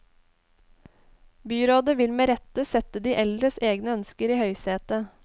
Byrådet vil med rette sette de eldres egne ønsker i høysetet.